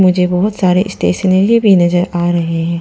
मुझे बहुत सारे स्टेशनरी भी नजर आ रहे हैं।